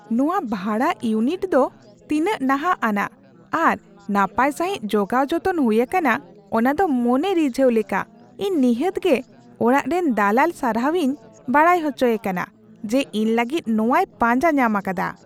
ᱱᱚᱶᱟ ᱵᱷᱟᱲᱟ ᱤᱭᱩᱱᱤᱴ ᱫᱚ ᱛᱤᱱᱟᱹᱜ ᱱᱟᱦᱟᱜ ᱟᱱᱟᱜ ᱟᱨ ᱱᱟᱯᱟᱭ ᱥᱟᱹᱦᱤᱡ ᱡᱚᱜᱟᱣ ᱡᱚᱛᱚᱱ ᱦᱩᱭ ᱟᱠᱟᱱᱟ ᱚᱱᱟᱫᱚ ᱢᱚᱱᱮ ᱨᱤᱡᱷᱟᱹᱣ ᱞᱮᱠᱟ ! ᱤᱧ ᱱᱤᱦᱟᱹᱛᱜᱮ ᱚᱲᱟᱜ ᱨᱮᱱ ᱫᱟᱞᱟᱞ ᱥᱟᱨᱦᱟᱣᱤᱧ ᱵᱟᱲᱟᱭ ᱦᱚᱪᱚᱭᱮ ᱠᱟᱱᱟ ᱡᱮ ᱤᱧ ᱞᱟᱹᱜᱤᱫ ᱱᱚᱶᱟᱭ ᱯᱟᱸᱡᱟ ᱧᱟᱢ ᱟᱠᱟᱫᱟ ᱾